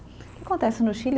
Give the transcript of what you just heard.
Que acontece no Chile?